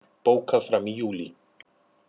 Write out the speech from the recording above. Bókað fram í júlí